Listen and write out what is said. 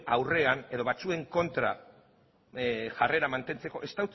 aurrean edo batzuen kontra jarrera mantentzeko ez